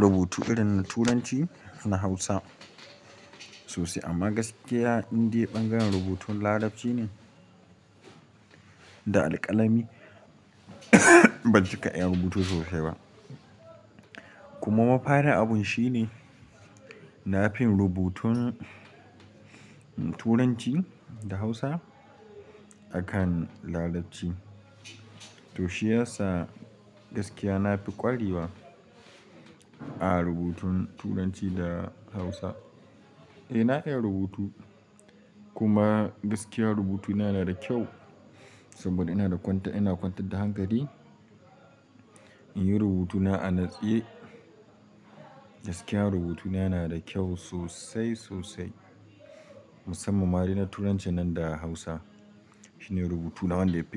rubutu irin na Turanci da Hausa sosai. Amma gaskiya in dai ɓangaren rubutun Larabci ne da alƙalami ban cika iya rubutu sosai ba. Kuma mafarin abun shi ne na fi yin rubutun Turanci da Hausa a kan Larabci. To shi yasa gaskiya na fi ƙwarewa a rubutun Turanci da Hausa. Eh, na iya rubutu kuma gaskiya rubutuna yana da kyau saboda ina kwantar da hankali in yi rubutuna a natse. Gaskiya rubutuna yana da kyau sosai sosai, musamman ma dai na Turanci nan da Hausa. Shi ne rubutuna wanda ya fi.